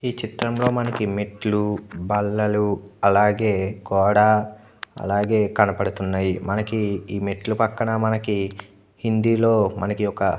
ఈ చిత్రం లో మనకు మెట్లు బల్లలు అలాగే గోడ అలాగే కనబడుతున్నాయి. ఈ మెట్లు పక్కన మనకి హిందీ లో మనకి ఒక --